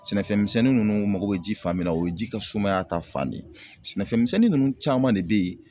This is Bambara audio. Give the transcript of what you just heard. Sɛnɛfɛn misɛnnin ninnu u mago bɛ ji fan min na o ye ji ka sumaya ta fan de ye sɛnɛfɛn misɛnnin ninnu caman de bɛ ye